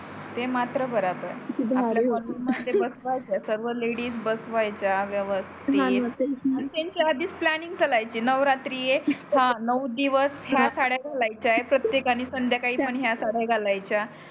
ते मात्र बराबर किती भारी आपल्या मध्ये बसव्याच सर्व लेडीज बसव्याच्या व्यवस्तीती हो णा तेच णा त्यांची आधीच प्लॅनिंग चाल्याची नवरात्रि येत हया नऊ दिवस हया साड्या घालायच्या आहे प्रतेकानी संध्या काळी पण हया साड्या घालाच्या